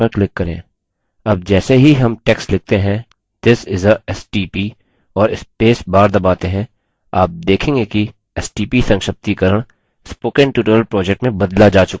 अब जैसे ही हम text लिखते हैं this is a stp और space दबाते हैं आप देखेंगे कि stp संक्षिप्तीकरण spoken tutorial project में बदला जा चुका है